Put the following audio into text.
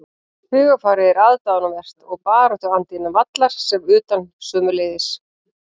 Hugarfarið er aðdáunarvert og baráttuandi innan vallar sem utan sömuleiðis.